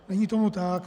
Není tomu tak.